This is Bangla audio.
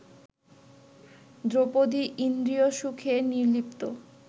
দ্রৌপদী ইন্দ্রিয়সুখে নির্লিপ্ত